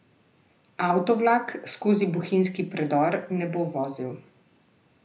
Avtovlak skozi bohinjski predor ne bo vozil.